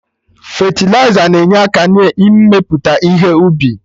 Fetịliza na-enye aka na-mmepụta ihe ubi